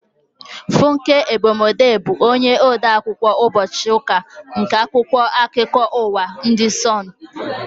Funke Egbemode bụ onye ode akwụkwọ ụbọchị ụka n' akwụkwọ akụkọ ụwa ndị Sonu